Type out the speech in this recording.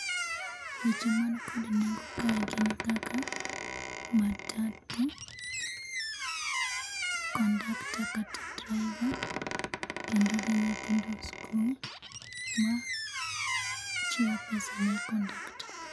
Picha man kod nengo kae gin kaka matatu ,kondakta kata driver kendo gi nyithindo skul ma chiwo pesa ne Kondakta